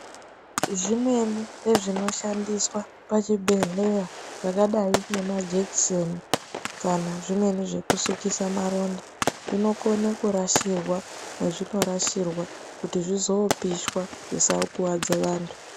Zvimweni zvinoshandiswa zvezvinoshandiswa pachibhedhleya zvakadai ngemajekiseni kana zvimweni zvekusukisa maronda zvinokone kurashirwa mwezvinorashirwa kuti zvizoopishwa zvisakuvadze vantu.